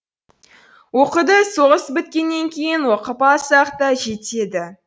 оқуды соғыс біткеннен кейін оқып алсақ та жетеді